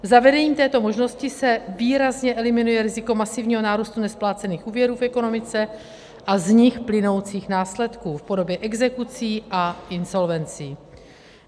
Zavedením této možnosti se výrazně eliminuje riziko masivního nárůstu nesplácených úvěrů v ekonomice a z nich plynoucích následků v podobě exekucí a insolvencí.